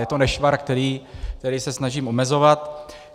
Je to nešvar, který se snažím omezovat.